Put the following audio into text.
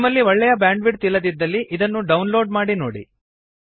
ನಿಮ್ಮಲ್ಲಿ ಒಳ್ಳೆಯ ಬ್ಯಾಂಡ್ವಿಡ್ತ್ ಇಲ್ಲದಿದ್ದಲ್ಲಿ ಇದನ್ನು ಡೌನ್ಲೋಡ್ ಮಾಡಿ ನೋಡಿ